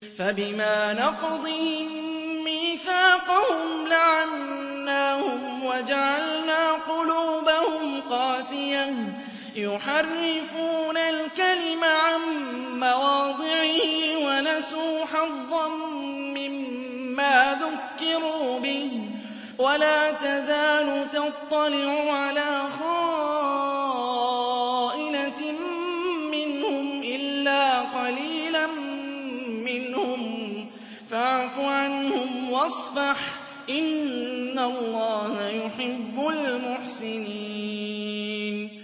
فَبِمَا نَقْضِهِم مِّيثَاقَهُمْ لَعَنَّاهُمْ وَجَعَلْنَا قُلُوبَهُمْ قَاسِيَةً ۖ يُحَرِّفُونَ الْكَلِمَ عَن مَّوَاضِعِهِ ۙ وَنَسُوا حَظًّا مِّمَّا ذُكِّرُوا بِهِ ۚ وَلَا تَزَالُ تَطَّلِعُ عَلَىٰ خَائِنَةٍ مِّنْهُمْ إِلَّا قَلِيلًا مِّنْهُمْ ۖ فَاعْفُ عَنْهُمْ وَاصْفَحْ ۚ إِنَّ اللَّهَ يُحِبُّ الْمُحْسِنِينَ